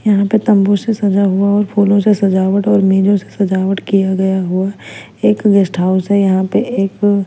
यहाँ पे तंबू से सजा हुआ और फूलों से सजावट और मेजों से सजावट किया गया हुआ एक गेस्ट हाउस है यहाँ पे एक--